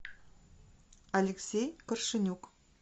алексей коршенюк